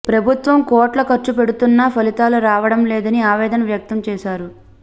ప్రభుత్వం కోట్లు ఖర్చు పెడుతున్నా ఫలితాలు రావడం లేదని ఆవేదన వ్యక్తం చేశారు